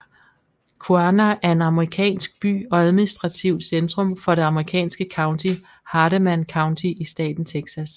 Quanah er en amerikansk by og administrativt centrum for det amerikanske county Hardeman County i staten Texas